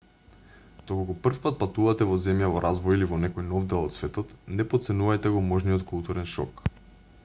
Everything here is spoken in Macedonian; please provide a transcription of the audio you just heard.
доколку прв пат патувате во земја во развој или во некој нов дел од светот не потценувајте го можниот културен шок